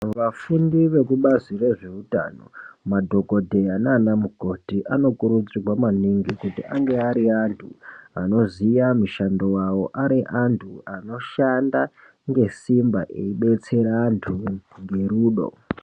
Vafundi veku bazi re zveutano madhokoteya nana mukoti ano kurudzirwa maningi kuti ange ari antu anoziya mishando wavo ari antu ano shanda nge simba eibetsera antu nge rudo.